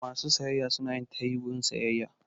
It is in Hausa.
Masu sayayya suna yin tayi wurin sayayya.